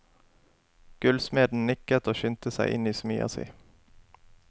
Gullsmeden nikket og skyndte seg inn i smia si.